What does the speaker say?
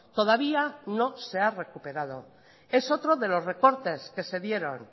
todavía no se ha recuperado es otro de los recortes que se dieron